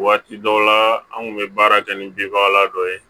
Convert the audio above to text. Waati dɔw la an kun bɛ baara kɛ ni binbaga dɔ ye